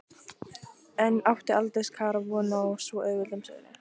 En átti Aldís Kara von á svo auðveldum sigri?